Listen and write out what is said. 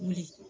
Wuli